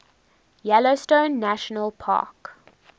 yellowstone national park